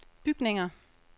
bygninger